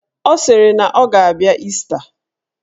Ọ sịrị na ọ ga-abịa Ịsta.